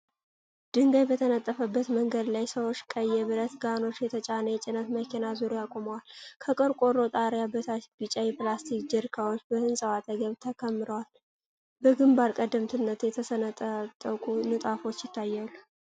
ድንጋይ በተነጠፈበት መንገድ ላይ፣ ሰዎች ቀይ የብረት ጋኖች የተጫነ የጭነት መኪና ዙሪያ ቆመዋል። ከቆርቆሮ ጣሪያ በታች፣ ቢጫ ፕላስቲክ ጀሪካኖች በህንፃው አጠገብ ተከምረዋል፤ በግንባር ቀደምትነት የተሰነጣጠቁ ንጣፎች ይታያሉ።